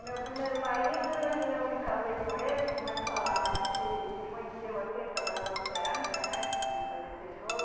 O meu primeiro marido, eh eu me casei com ele, como eu falava, a gente se conheceu assim trabalhando na cerâmica, né, de fazer tijolo